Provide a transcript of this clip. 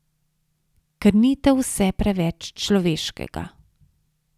Krnitev vse preveč človeškega.